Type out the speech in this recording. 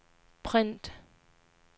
print